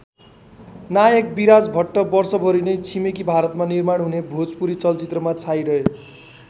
नायक विराज भट्ट वर्षभरि नै छिमेकी भारतमा निर्माण हुने भोजपुरी चलचित्रमा छाइरहे।